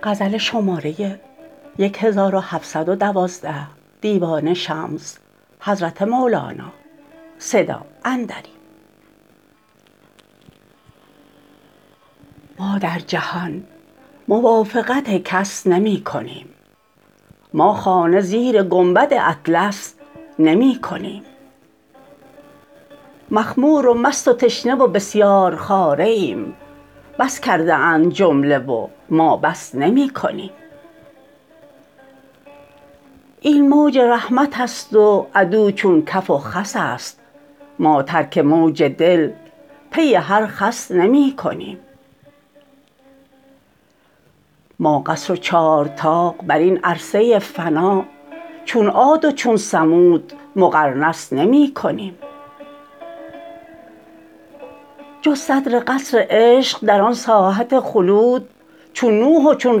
ما در جهان موافقت کس نمی کنیم ما خانه زیر گنبد اطلس نمی کنیم مخمور و مست و تشنه و بسیارخواره ایم بس کرده اند جمله و ما بس نمی کنیم این موج رحمت است و عدو چون کف و خس است ما ترک موج دل پی هر خس نمی کنیم ما قصر و چارطاق بر این عرصه فنا چون عاد و چون ثمود مقرنس نمی کنیم جز صدر قصر عشق در آن ساحت خلود چون نوح و چون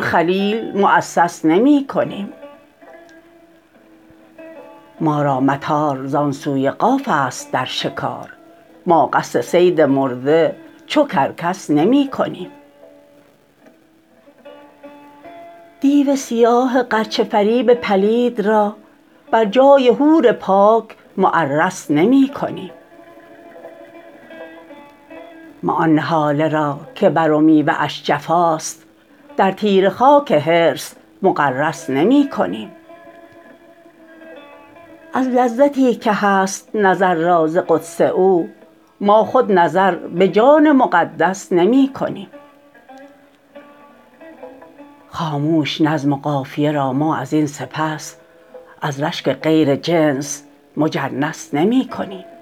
خلیل موسس نمی کنیم ما را مطار زان سوی قاف است در شکار ما قصد صید مرده چو کرکس نمی کنیم دیو سیاه غرچه فریب پلید را بر جای حور پاک معرس نمی کنیم ما آن نهاله را که بر و میوه اش جفاست در تیره خاک حرص مغرس نمی کنیم از لذتی که هست نظر را ز قدس او ما خود نظر به جان مقدس نمی کنیم خاموش نظم و قافیه را ما از این سپس از رشک غیر جنس مجنس نمی کنیم